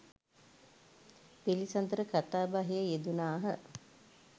පිළිසඳර කතාබහේ යෙදුණාහ.